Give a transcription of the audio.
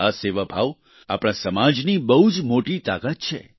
આ સેવાભાવ આપણા સમાજની બહુ જ મોટી તાકાત છે